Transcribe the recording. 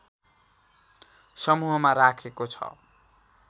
समूहमा राखेको छ